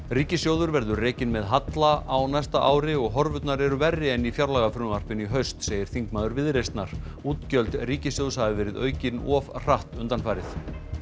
ríkissjóður verður rekinn með halla á næsta ári og horfurnar eru verri en í fjárlagafrumvarpinu í haust segir þingmaður Viðreisnar útgjöld ríkissjóðs hafi verið aukin of hratt undanfarið